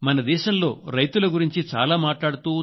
మన దేశంలో రైతుల గురించి చాలా మాట్లాడుతూ